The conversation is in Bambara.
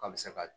A bɛ se ka